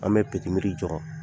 An bɛ jɔ